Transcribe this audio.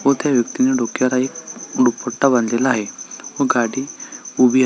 व त्या व्यक्तीने डोक्याला एक दुपट्टा बांधलेला आहे व गाडी उभी आ--